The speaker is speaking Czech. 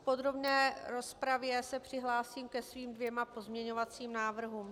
V podrobné rozpravě se přihlásím ke svým dvěma pozměňovacím návrhům.